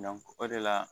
o de la